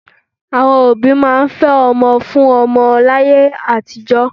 Àwọn òbí máa ń fẹ́ ọmọ fún ọmọ wọn láyé àtijọ́